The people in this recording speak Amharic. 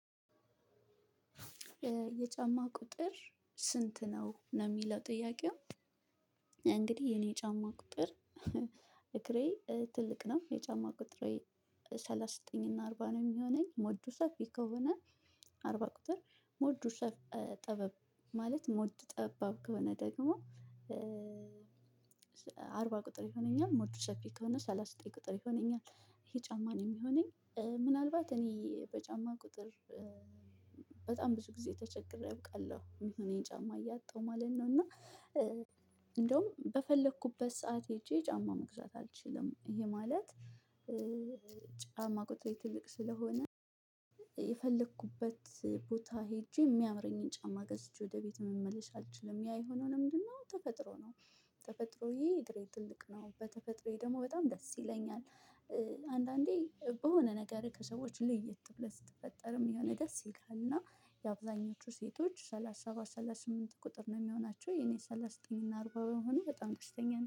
የጫማህ ቁጥር ስንት ነው የሚለው ጥያቄው? እንግዲህ የኔ ጫማ ቁጥር እግሬ ትልቅ ነው የጫማ ቁጥሬ። ሰላሳ ዘጠኝ እና አርባ ነው የሚሆነኝ ሞዱ ሰፊ ከሆነ አርባ ቁጥር ሞዱ ጠበብ ማለት ሞዱ ጠባብ ከሆነ ደግሞ። አርባ ቁጥር ይሆነኛል ሞዱ ሰፊ ከሆነ ሰላሳ ዘጠኝ ቁጥር ይሆነኛል ይሄ ጫማ ነው የሚሆነኝ ምናልባት እኔ በጫም ቁጥር በጣም ብዙ ጊዜ ተቸግሬ አውቃለሁ የሚሆነኝ ጫማ እያጣሁ ማለት ነው። እና። እንደውም በፈግለኩበት ሰዓት ሄጄ ጫማ መግዛት አልችልም። ይሄ ማለት ጫማ ቁጥሬ ትልቅ ስለሆነ። የፈለግኩበት ቦታ ሄጄ የሚያምረኝን ጫማ ገዝቼ ወደ ቤት መመለስ አልችልም ያ የሆነው ለምንድነው? ተፈጥሮ ነው። ተፈጥሮዬ እግሬ ትልቅ ነው በተፈጥሮዬ ደግሞ በጣም ደስ ይለኛል። አንዳንዴ በሆነ ነገርህ ከሰዎች ለየት ብለህ ስትፈጠርም የሆነ ደስ ይልካል። እና የአብዛኞቹ ሴቶች ሰላሳ ሰባት ሰላሳ ስምንት ቁጥር ነው የሚሆናቸው የኔ ሰላሳ ዘጠኝ እና አርባ የመሆኔ በጣም ደስተኛ ነኝ